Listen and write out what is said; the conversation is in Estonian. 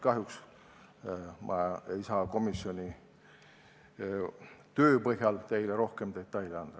Kahjuks ei saa ma komisjoni töö põhjal teile rohkem detaile anda.